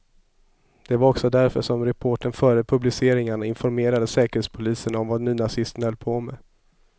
Det var också därför som reportern före publiceringarna informerade säkerhetspolisen om vad nynazisterna höll på med.